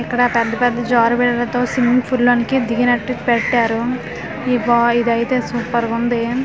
ఇక్కడ పెద్ద పెద్ద జారు బిల్లలతో స్విమ్యింగ్ ఫుల్ లోనికి దిగినట్టు పెట్టారు ఈ బా ఇదైతే సూపర్ గా ఉంది .